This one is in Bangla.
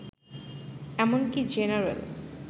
এমনকি জেনারেল